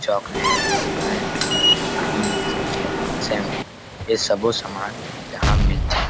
Chocolate Maggi cream biscuit shampoo ऐ सबो सामान यहाँ मिलथे।